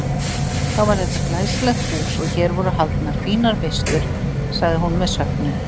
Þá var þetta glæsilegt hús og hér voru haldnar fínar veislur sagði hún með söknuði.